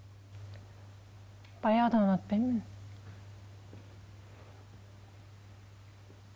баяғыдан ұнатпаймын мен